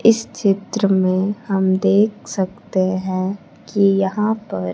इस चित्र में हम देख सकते हैं कि यहां पर--